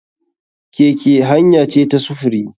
Keke hanya ce ta sufuri.